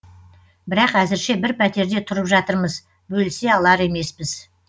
бірақ әзірше бір пәтерде тұрып жатырмыз бөлісе алар емеспіз